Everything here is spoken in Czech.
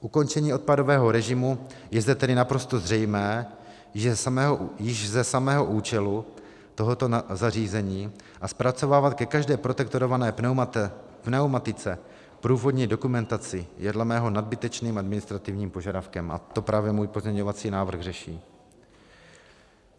Ukončení odpadového režimu je zde tedy naprosto zřejmé již ze samého účelu tohoto zařízení a zpracovávat ke každé protektorované pneumatice průvodní dokumentaci je dle mého nadbytečným administrativním požadavkem, a to právě můj pozměňovací návrh řeší.